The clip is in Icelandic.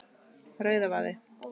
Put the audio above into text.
Rauðavaði